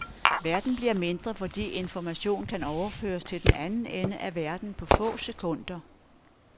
Verden bliver mindre fordi information kan overføres til den anden ende af verden på få sekunder.